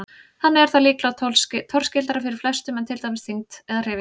Þannig er það líklega torskildara fyrir flestum en til dæmis þyngd eða hreyfing.